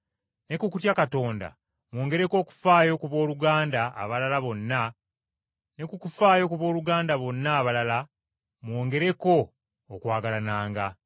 ne ku kutya Katonda mwongereko okufaayo ku booluganda abalala bonna ne ku kufaayo ku booluganda bonna abalala mwongereko okwagalananga.